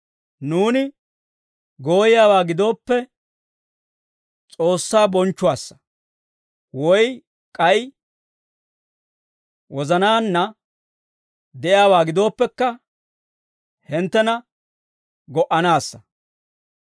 Nuuni gooyiyaawaa gidooppe, S'oossaa bonchchuwaassa; woy k'ay wozanaanna de'iyaawaa gidooppekka, hinttena go"anaassa.